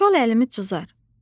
Kol əlimi cızar.